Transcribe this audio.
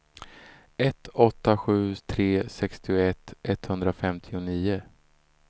ett åtta sju tre sextioett etthundrafemtionio